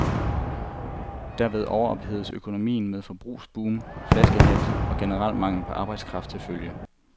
Derved overophededes økonomien med forbrugsboom, flaskehalse og generel mangel på arbejdskraft til følge.